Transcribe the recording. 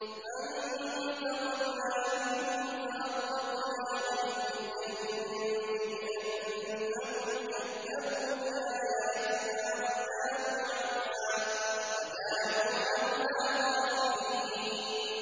فَانتَقَمْنَا مِنْهُمْ فَأَغْرَقْنَاهُمْ فِي الْيَمِّ بِأَنَّهُمْ كَذَّبُوا بِآيَاتِنَا وَكَانُوا عَنْهَا غَافِلِينَ